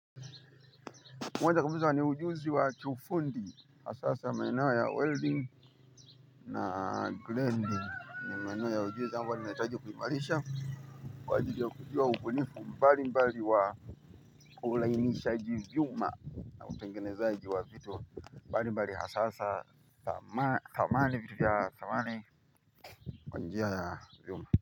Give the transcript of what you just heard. Moja kabisa ni ujuzi wa kiufundi. Hasahasa maeneo ya welding. Na grinding ni maeneo ya ujuzi ambayo ninahitaji kuimarisha. Kwa ajili ya kujua ukulifu mbali mbali wa ulainishaji vyuma. Na utengenezaji wa vitu mbalimbali hasahasa samani vitu vya samani kwa njia ya vyuma.